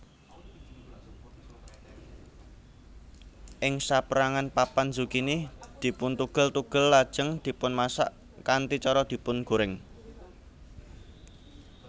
Ing saperangan papan zukini dipuntugel tugel lajeng dipunmasak kanthi cara dipungorèng